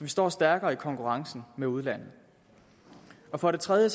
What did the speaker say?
står stærkere i konkurrencen med udlandet for det tredje